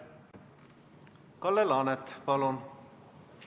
Kalle Laanet, palun!